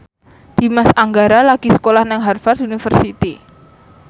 Dimas Anggara lagi sekolah nang Harvard university